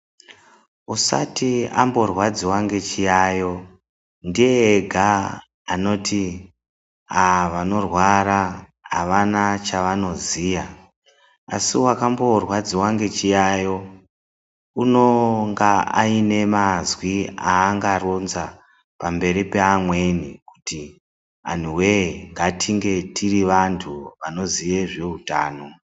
Usati amborwadziwa ngechiyayo ndiye ega anoti ah vanorwara havana chavanoziya, asi wakamborwadziwa ngechiyayo unonga ainemazwi aangaronza pamberi peamweni kuti anhuwe ngatinge tirivantu vanoziye zveutano.